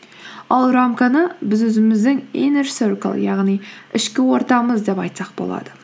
ал рамканы біз өзіміздің иннер серкл яғни ішкі ортамыз деп айтсақ болады